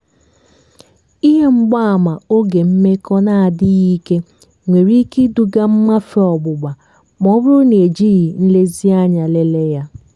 ihe mgbaàmà oge mmekọ na-adịghị ike nwere ike iduga mmafe ọgbụgba ma ọ bụrụ na ejighị nlezianya lelee ya.